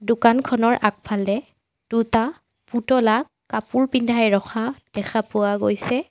দোকানখনৰ আগফালে দুটা পুতলাক কাপোৰ পিন্ধাই ৰখা দেখা পোৱা গৈছে।